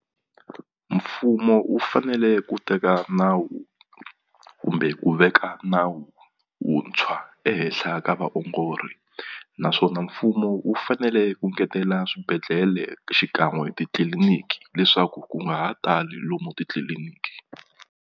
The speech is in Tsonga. Mfumo wu fanele ku teka nawu kumbe ku veka nawu wuntshwa ehenhla ka vaongori naswona mfumo wu fanele ku ngetela swibedhlele xikan'we titliliniki leswaku ku nga ha tali lomu titliliniki.